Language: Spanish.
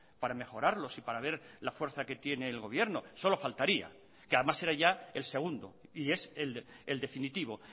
para mejorarlos y para ver la fuerza que tiene el gobierno solo faltaría que además era ya el segundo y es el definitivo